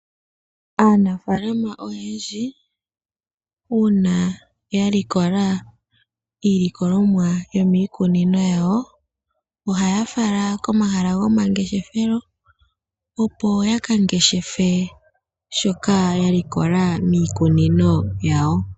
Aanafaalama oyendji uuna ya likola iilikolomwa yomiikunino yawo ohaya fala komahala gomangeshefelo, opo ya ka ngeshefe shoka ya likola miikunino yawo.